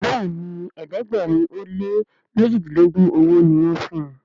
Béèni ẹ̀ẹ́dẹ̀gbẹ̀rin o lẹ mẹjidilogun ọwó ní wón fún.